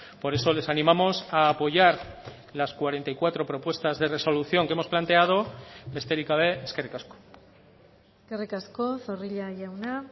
por eso les animamos a apoyar las cuarenta y cuatro propuestas de resolución que hemos planteado besterik gabe eskerrik asko eskerrik asko zorrilla jauna